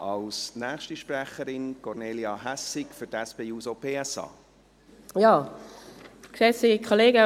Als nächste Sprecherin: Kornelia Hässig für die SP-JUSO-PSA-Fraktion.